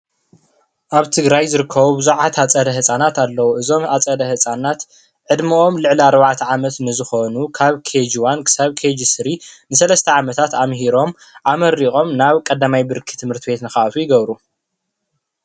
ኣብ ትግራይ ዝርከቡ ብዙሓት ኣፀደ ህፃናት ኣለዉ፡፡ እዞም ኣፀደ ህፃናት ዕድመኦም ልዕሊ ኣርባዕተ ዓመት ንዝኾኑ ካብ ኬጅ ዋን እስካብ ኬጅ ስሪ ንሰለስተ ዓመታት ኣምሂሮም ኣመሪቖም ናብ ቀዳማይ ብርኪ ትምህርት ቤት ንኽኣትዉ ይገብሩ፡፡